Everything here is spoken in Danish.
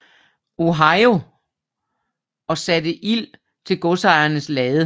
Ohio og satte ild til godsejerens lade